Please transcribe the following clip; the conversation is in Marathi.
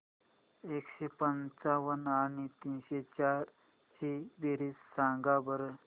एकशे पंच्याण्णव आणि तीनशे चार ची बेरीज सांगा बरं